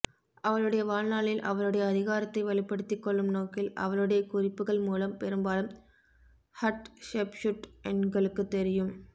அவளுடைய வாழ்நாளில் அவளுடைய அதிகாரத்தை வலுப்படுத்திக் கொள்ளும் நோக்கில் அவளுடைய குறிப்புகள் மூலம் பெரும்பாலும் ஹட்செப்ஸூட் எங்களுக்குத் தெரியும்